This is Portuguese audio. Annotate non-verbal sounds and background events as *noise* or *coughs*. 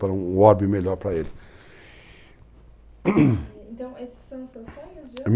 Para um orbe melhor para ele, *coughs* então esses seus os seus sonhos de hoje?